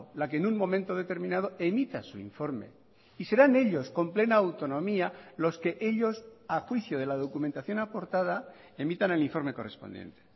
la que en un momento determinado emita su informe y serán ellos con plena autonomía los que ellos a juicio de la documentación aportada emitan el informe correspondiente